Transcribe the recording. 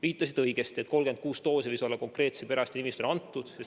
Viitasite õigesti, et 36 doosi võis olla teie perearsti nimistule antud.